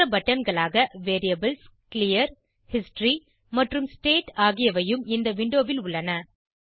மற்ற பட்டன்களாக variables clear history மற்றும் ஸ்டேட் ஆகியவையும் இந்த விண்டோவில் உள்ளன